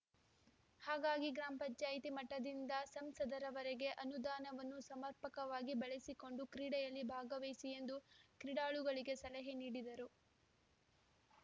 ಹಾಗಾಗಿ ಗ್ರಾಮ ಪಂಚಾಯ್ತಿ ಮಟ್ಟದಿಂದ ಸಂಸದರವರೆಗೆ ಅನುದಾನವನ್ನು ಸಮರ್ಪಕವಾಗಿ ಬಳಸಿಕೊಂಡು ಕ್ರೀಡೆಯಲ್ಲಿ ಭಾಗವಹಿಸಿ ಎಂದು ಕ್ರೀಡಾಳುಗಳಿಗೆ ಸಲಹೆ ನೀಡಿದರು